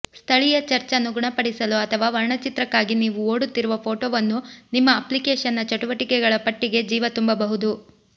ಸ್ಥಳೀಯ ಚರ್ಚ್ ಅನ್ನು ಗುಣಪಡಿಸಲು ಅಥವಾ ವರ್ಣಚಿತ್ರಕ್ಕಾಗಿ ನೀವು ಓಡುತ್ತಿರುವ ಫೋಟೋವು ನಿಮ್ಮ ಅಪ್ಲಿಕೇಶನ್ನ ಚಟುವಟಿಕೆಗಳ ಪಟ್ಟಿಗೆ ಜೀವ ತುಂಬಬಹುದು